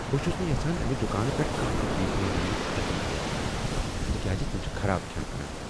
بہٕ چھس نہٕ یژھان امہ دکان پیٹھہٕ کانٛہہ تہ چیز مٔلۍ اننُک خطرٕ تُلُن یژھان تکیازِ تم چھ خراب کھٮ۪ن کٕنان۔